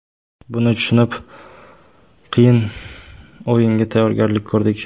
Buni tushunib, qiyin o‘yinga tayyorgarlik ko‘rdik.